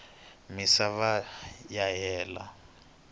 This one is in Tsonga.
misava ya hela